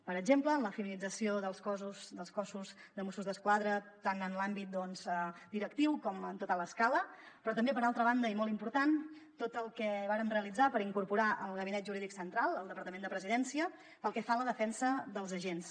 per exemple en la feminització del cos de mossos d’esquadra tant en l’àmbit directiu com en tota l’escala però també per altra banda i molt important tot el que vàrem realitzar per incorporar el gabinet jurídic central al departament de la presidència pel que fa a la defensa dels agents